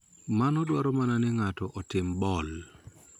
Mano dwaro mana ni ng�ato otim ball.